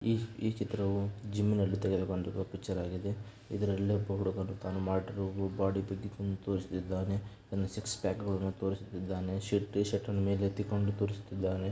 ಈ ಈ ಚಿತ್ರವು ಜಿಮ್ ನಲ್ಲಿ ತೆಗೆದುಕೊಂಡಿರುವ ಪಿಕ್ಚರ್ ಆಗಿದೆ. ಇದ್ರಲ್ಲಿ ಬಾಡಿ ತೋರಿಸ್ತಿದ್ಧಾನೆ ಆರು ಸಿಕ್ಸ್ ಪ್ಯಾಕ್ ತೋರಿಸ್ತಿದ್ಧಾನೆ. ಶರ್- ಟೀ-ಶರ್ಟ್ ಅನ್ನು ಮೇಲೆತ್ತಿಕೊಂಡು ಅವನು ತೋರಿಸ್ತಿದ್ಧಾನೆ.